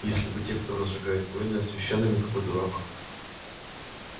если бы те кто разжигает войны а священными какой дурак